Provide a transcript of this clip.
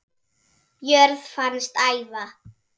jörð fannst æva